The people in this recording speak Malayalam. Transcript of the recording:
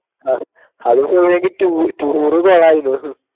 ആഹ് അത് പോയെങ്കി tour tour കൊളയ്‌നും